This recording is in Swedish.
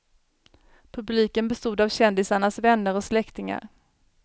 Publiken bestod av kändisarnas vänner och släktingar.